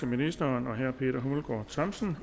ministeren og herre peter hummelgaard thomsen